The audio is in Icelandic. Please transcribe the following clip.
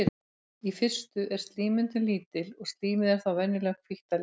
í fyrstu er slímmyndun lítil og slímið er þá venjulega hvítt að lit